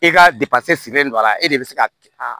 E ka depase silen don a la e de be se ka a